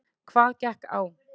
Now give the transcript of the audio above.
Hvað gekk á?